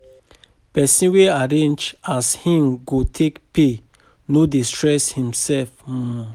Pesin wey arrange as im go take pay no dey stress imself. um